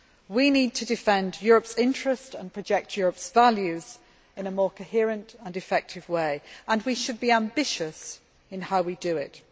We need to defend Europe's interests and project Europe's values in a more coherent and effective way, and we should be ambitious in how we do it.